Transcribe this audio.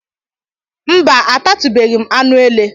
Mba, atatubeghị m anụ ele